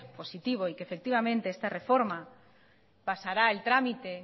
positivo y que efectivamente esta reforma pasará el trámite